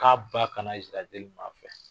K'a ba kana nzira deli maa fɛ.